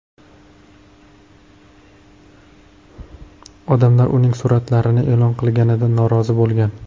Odamlar uning suratlarni e’lon qilganidan norozi bo‘lgan.